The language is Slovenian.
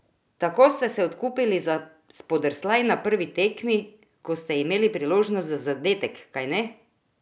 Tako ste se odkupili za spodrsljaj na prvi tekmi, ko ste imeli priložnost za zadetek, kajne?